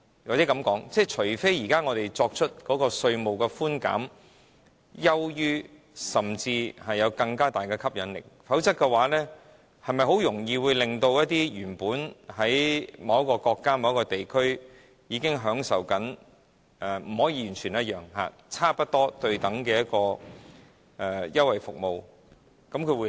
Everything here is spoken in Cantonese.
或許這樣說，除非本港現時的稅務寬減優於他們，甚至有更大吸引力，否則，是否很容易吸引到一些原本在其他國家、地區經營而正享受到並非完全相同但差不多對等的稅務優惠來香港呢？